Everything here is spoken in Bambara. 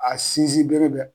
A sinsin bere bɛ